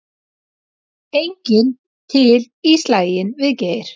Enginn til í slaginn við Geir